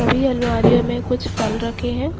भी अलवारियों में कुछ फल रखे हैं।